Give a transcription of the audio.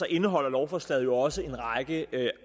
indeholder lovforslaget jo også en række